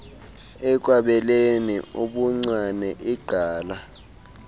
ekwabeleni ubuncwane igqala